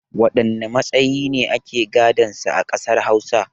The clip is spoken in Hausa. Waɗanne matsayi ne ake gadan sa a ƙasar Hausa?